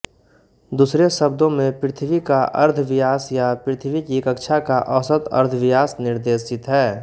दूसरे शब्दों में पृथ्वी का अर्धव्यास या पृथ्वी की कक्षा का औसत अर्धव्यास निर्देशित है